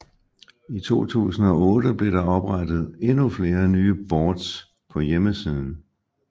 I 2008 blev der oprettet endnu flere nye boards på hjemmesiden